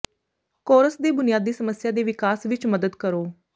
course ਦੇ ਬੁਨਿਆਦੀ ਸਮੱਸਿਆ ਦੇ ਵਿਕਾਸ ਵਿੱਚ ਮਦਦ ਕਰੋ